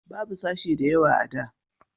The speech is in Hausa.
babu sashe da yawa a da